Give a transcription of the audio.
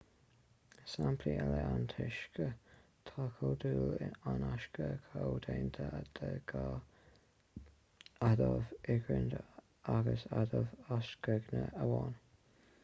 is sampla eile é an t-uisce tá comhdhúil an uisce comhdhéanta de dhá adamh hidrigine agus adamh ocsaigine amháin